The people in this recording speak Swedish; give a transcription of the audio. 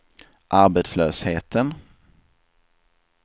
arbetslösheten